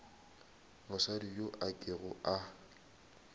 mosadi yo a kego a